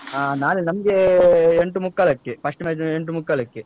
ಹ ನಾಳೆ ನಮಗೆ ಅಹ್ ಎಂಟು ಮುಕ್ಕಾಲಕ್ಕೆ. first match ಎಂಟು ಮುಕ್ಕಾಲಕ್ಕೆ.